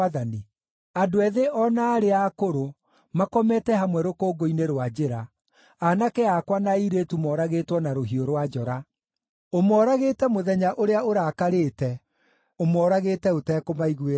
“Andũ ethĩ o na arĩa akũrũ makomete hamwe rũkũngũ-inĩ rwa njĩra, aanake akwa na airĩtu moragĩtwo na rũhiũ rwa njora. Ũmoragĩte mũthenya ũrĩa ũrakarĩte; ũmoragĩte ũtekũmaiguĩra tha.